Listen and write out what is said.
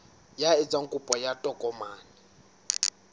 ya etsang kopo ya tokomane